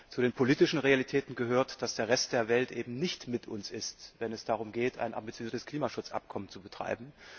Zu den politischen Realitäten gehört, dass der Rest der Welt eben nicht mit uns ist, wenn es darum geht, ein ambitioniertes Klimaschutzabkommen zu betreiben.